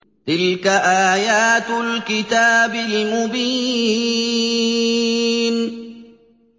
تِلْكَ آيَاتُ الْكِتَابِ الْمُبِينِ